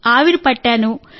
నీటి ఆవిరి తీసుకున్నాను